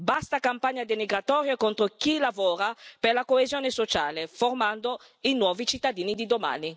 Basta campagne denigratorie contro chi lavora per la coesione sociale, formando i nuovi cittadini di domani.